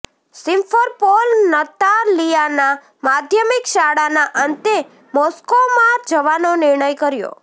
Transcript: Simferopol નતાલિયાના માધ્યમિક શાળાના અંતે મોસ્કોમાં જવાનો નિર્ણય કર્યો